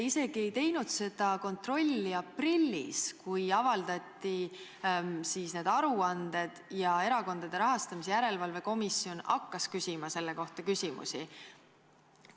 Miks te ei teinud seda kontrolli isegi aprillis, kui avaldati need aruanded ja Erakondade Rahastamise Järelevalve Komisjon hakkas küsima selle kohta küsimusi?